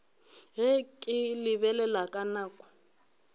ge ke lebelela nako ka